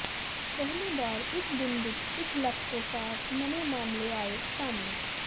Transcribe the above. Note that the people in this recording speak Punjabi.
ਪਹਿਲੀ ਵਾਰ ਇਕ ਦਿਨ ਵਿੱਚ ਇਕ ਲੱਖ ਤੋਂ ਪਾਰ ਨਵੇਂ ਮਾਮਲੇ ਆਏ ਸਾਹਮਣੇ